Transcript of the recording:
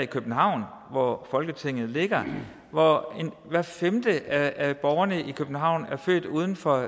københavn hvor folketinget ligger hvor hver femte af borgerne i københavn er født uden for